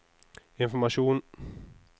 informasjon